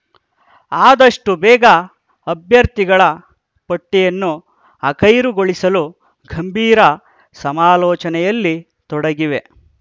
ಆದಷ್ಟು ಬೇಗ ಅಭ್ಯರ್ಥಿಗಳ ಪಟ್ಟಿಯನ್ನು ಅಖೈರುಗೊಳಿಸಲು ಗಂಭೀರ ಸಮಾಲೋಚನೆಯಲ್ಲಿ ತೊಡಗಿವೆ